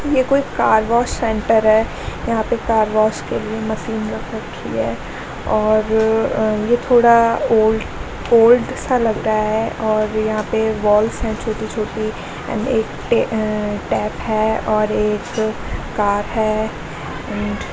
को एक car wash center है यहां पे कार वॉश के लिए मशीन रख रखी है और यह थोड़ा ओल्ड ओल्ड सा लग रहा है और यहां पे वॉल्स हैं छोटी-छोटी एंड एक टैप है और एक कार है एंड --